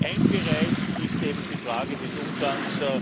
Ein Bereich ist eben die Frage des Umgangs.